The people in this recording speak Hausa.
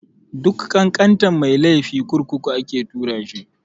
Duk ƙanƙantan mai laifi kurkuku ake tura shi.